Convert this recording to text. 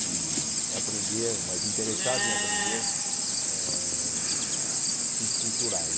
e aprender, mas interessado em aprender eh ah assuntos culturais.